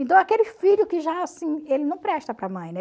Então aquele filho que já assim, ele não presta para a mãe, né?